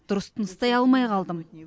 дұрыс тыныстай алмай қалдым